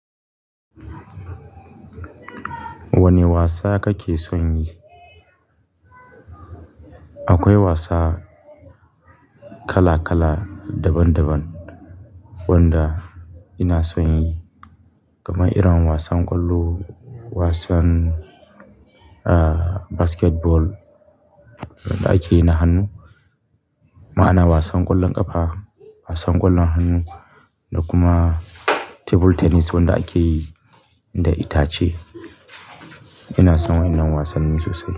Wane wasa kake son yi? Akwai wasa kalakala daban daban wanda ina son yi, kamar irin wasan ƙwallo, wasan, ah, basketball wanda ake yi na hannu. Ma'ana wasan ƙwallon ƙafa, wasan ƙwallon hannu da kuma table tennis wanda ake yi da itace. Ina son wannan wasanni sosai.